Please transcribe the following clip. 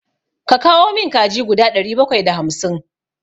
Ka kawo min kaji guda ɗari bakwai da hamsin!